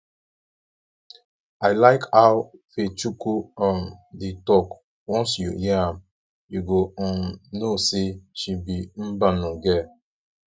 i like how ifechukwu um dey talk once you hear am you go um know say she be mbano girl